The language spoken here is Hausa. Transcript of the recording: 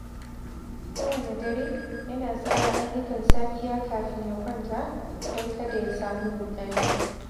Kowanne dare, yana tsara ayyukan safiya kafin ya kwanta don kada ya samu ruɗani.